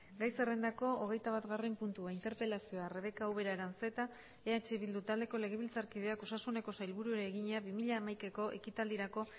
gai zerrendako hogeitabatgarren puntua interpelazioa rebeka ubera aranzeta eh bildu taldeko legebiltzarkideak osasuneko sailburuari egina bi mila hamaikako ekitaldirako